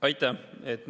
Aitäh!